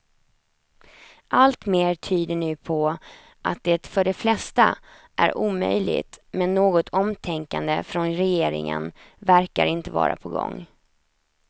Allt mer tyder nu på att det för de flesta är omöjligt, men något omtänkande från regeringen verkar inte vara på gång.